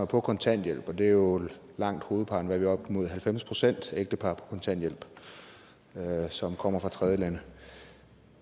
er på kontanthjælp det er jo langt hovedparten er det op mod halvfems procent af ægtepar på kontanthjælp som kommer fra tredjelande